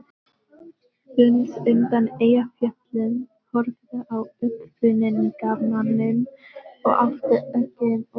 Venus undan Eyjafjöllum horfði á uppfinningamanninn og átti ekki orð.